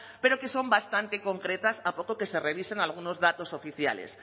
pero que son bastante concretas a poco que se revisen algunos datos oficiales